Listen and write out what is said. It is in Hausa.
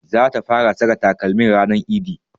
Zata fara saka takalmin ranar idi